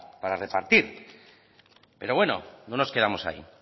para repartir pero bueno no nos quedamos ahí